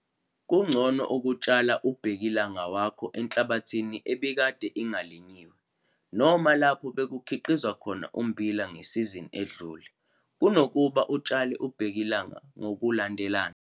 Kungcono ukutshala ubhekilanga wakho enhlabathini bekade ingalinyiwe noma lapho bekukhiqizwa khona ummbila ngesizini edlule kunokuba utshale ubhekilanga ngokulandelana.